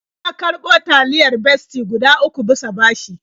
Ya karɓo taliyar Bestie guda uku bisa bashi.